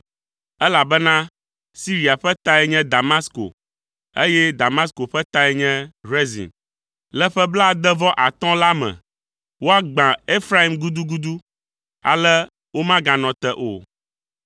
elabena Siria ƒe tae nye Damasko, eye Damasko ƒe tae nye Rezin. Le ƒe blaade-vɔ-atɔ̃ la me, woagbã Efraim gudugudu, ale womaganɔ te o.